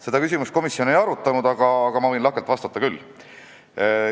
Seda küsimust komisjon ei arutanud, aga ma võin lahkelt vastata küll.